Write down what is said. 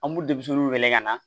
An b'u denmisɛnninw wele ka na